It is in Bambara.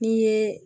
N'i ye